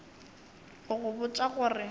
go go botša go re